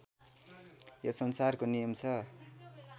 यो संसारको नियम छ